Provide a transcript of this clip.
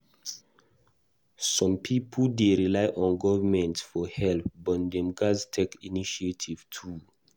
Some pipo dey rely on government for help, but dem gatz take initiative too.